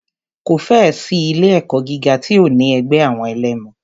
Kò fẹ́ ẹ̀ sí ilé ẹ̀kọ́ gíga tí ò ní ẹgbẹ́ àwọn ẹlẹmu.